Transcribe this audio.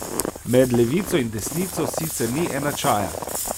Med levico in desnico sicer ni enačaja.